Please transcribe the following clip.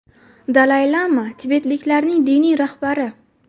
Dalay-lama tibetliklarning diniy rahbari.